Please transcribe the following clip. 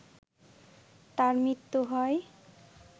তাঁর মৃত্যু হয়